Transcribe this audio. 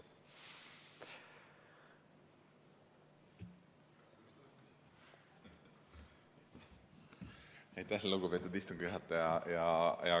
Aitäh, lugupeetud istungi juhataja!